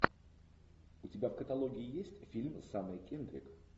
у тебя в каталоге есть фильм с анной кендрик